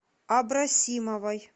абросимовой